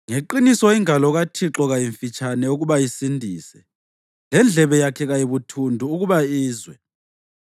Ngeqiniso ingalo kaThixo kayimfitshane ukuba isindise, lendlebe yakhe kayibuthundu ukuba izwe.